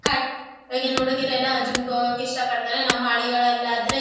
cut ಈಗಿನ ಹುಡುಗಿರೆಲ್ಲಾ gym ಗೆ ಹೋಗೋಕೆ ಇಷ್ಟ ಪಡ್ತಾರೆ ನಮ್ಮ್ ಹಳ್ಳಿಗಳ್ಲಲ್ಲಾದ್ರೆ--